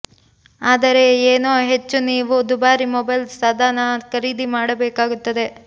ಆದರೆ ಏನೋ ಹೆಚ್ಚು ನೀವು ದುಬಾರಿ ಮೊಬೈಲ್ ಸಾಧನ ಖರೀದಿ ಮಾಡಬೇಕಾಗುತ್ತದೆ